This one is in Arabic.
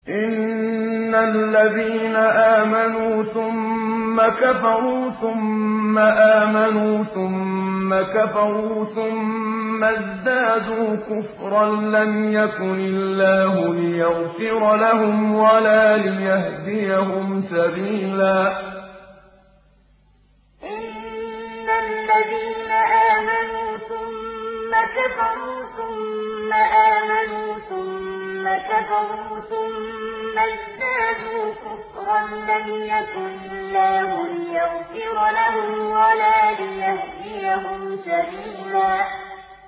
إِنَّ الَّذِينَ آمَنُوا ثُمَّ كَفَرُوا ثُمَّ آمَنُوا ثُمَّ كَفَرُوا ثُمَّ ازْدَادُوا كُفْرًا لَّمْ يَكُنِ اللَّهُ لِيَغْفِرَ لَهُمْ وَلَا لِيَهْدِيَهُمْ سَبِيلًا إِنَّ الَّذِينَ آمَنُوا ثُمَّ كَفَرُوا ثُمَّ آمَنُوا ثُمَّ كَفَرُوا ثُمَّ ازْدَادُوا كُفْرًا لَّمْ يَكُنِ اللَّهُ لِيَغْفِرَ لَهُمْ وَلَا لِيَهْدِيَهُمْ سَبِيلًا